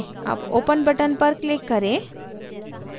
अब open button पर click करें